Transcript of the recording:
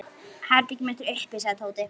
Herbergið mitt er uppi sagði Tóti.